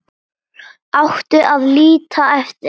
Átti að líta eftir